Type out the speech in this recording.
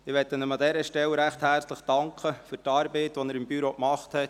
An dieser Stelle möchte ich ihm recht herzlich für die Arbeit danken, die er im Büro geleistet hat.